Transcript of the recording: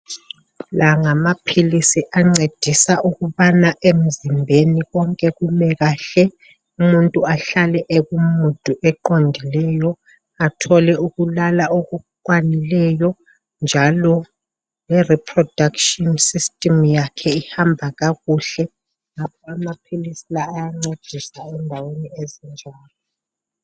La ngamaphilisi ancedisa ukubana emzimbeni konke kume kahle, umuntu ahlale eku mood eqondileyo, athole ukulala okukwanileyo, njalo le production system yakhe ihamba kakuhle, njalo amaphilisi lawa ayancedisa endaweni ezinje